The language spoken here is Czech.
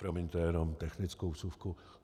Promiňte, jenom technickou vsuvku.